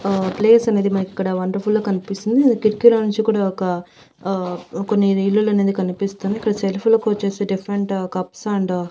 ఆ ప్లేస్ అనేది మనకి ఇక్కడ వండర్ ఫుల్ గా కనిపిస్తుంది కిటికీలోంచి కూడా ఒక హా కొన్ని ఇల్లులు అనేది కనిపిస్తుంది ఇక్కడ సెల్ఫ్ ల కొచ్చేసి ఒక డిఫరెంట్ కప్స్ అండ్ --